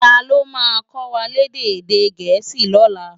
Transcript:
Táló má kòwá lèdè èdè Gẹẹsi lòlå?